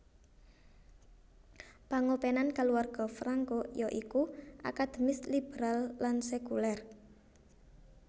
Pangopenan kaluwarga Franco ya iku akademis liberal lan sekuler